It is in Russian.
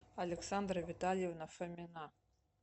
александра витальевна фомина